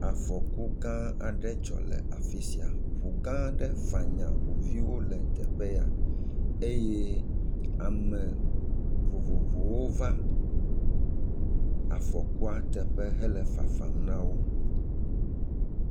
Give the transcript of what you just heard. Afɔku gã aɖe dzɔ le afisia. Ŋu gã aɖe fanya ŋu viwo le teƒe ya eye ame vovowo va afɔkua teƒe hele fafam na wo.